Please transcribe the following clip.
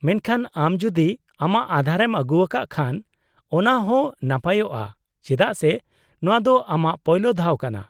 -ᱢᱮᱱᱠᱷᱟᱱ ᱟᱢ ᱡᱩᱫᱤ ᱟᱢᱟᱜ ᱟᱸᱫᱷᱟᱨᱮᱢ ᱟᱹᱜᱩᱣᱟᱠᱟᱫ ᱠᱷᱟᱱ ᱚᱱᱟ ᱦᱚᱸ ᱱᱟᱯᱟᱭᱚᱜᱼᱟ ᱪᱮᱫᱟᱜ ᱥᱮ ᱱᱚᱶᱟ ᱫᱚ ᱟᱢᱟᱜ ᱯᱳᱭᱞᱳ ᱫᱷᱟᱣ ᱠᱟᱱᱟ ᱾